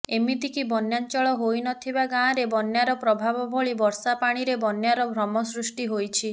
ଏମିତିକି ବନ୍ୟାଞ୍ଚଳ ହୋଇନଥିବା ଗାଁରେ ବନ୍ୟାର ପ୍ରଭାବ ଭଳି ବର୍ଷା ପାଣିରେ ବନ୍ୟାର ଭ୍ରମ ସୃଷ୍ଟି ହୋଇଛି